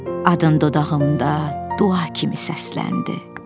Adın dodağımda dua kimi səsləndi.